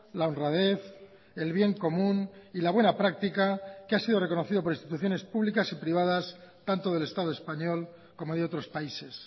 la honradez el bien común y la buena práctica que ha sido reconocido por instituciones públicas y privadas tanto del estado español como de otros países